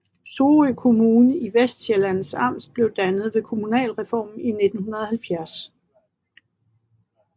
Sorø Kommune i Vestsjællands Amt blev dannet ved kommunalreformen i 1970